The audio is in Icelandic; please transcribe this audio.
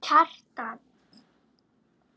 Kjartan vísar þessu á bug.